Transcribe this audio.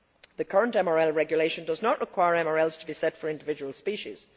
The current MRL Regulation does not require MRLs to be set for individual species.